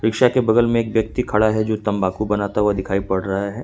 Rickshaw के बगल में एक व्यक्ति खड़ा है जो तंबाकू बनाता हुआ दिखाई पड़ रहा है।